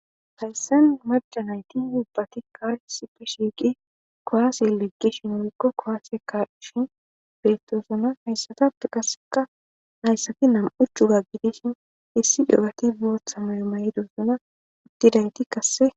hayssen maca nayti ubbati kaarisippe shiiqi koaase leqqishin wolko kowaase kashin beettosana hayssatappe qasseka nayssati nam7ucu ga gidishin issi dowati bootha mayo may7doosana uttidayti kasse